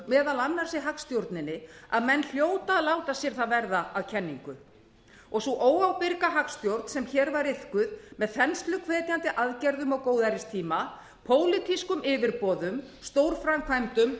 meðal annars í hagstjórninni að menn hljóta að láta sér það verða að kenningu og sú óábyrga hagstjórn sem hér var iðkuð með þensluhvetjandi aðgerðum á góðæristíma pólitískum yfirboðum stórframkvæmdum